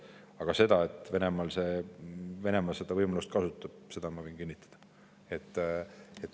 Aga seda, et Venemaa seda võimalust kasutab, ma võin kinnitada.